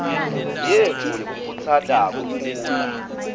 yetfu yekukhutsata kukhula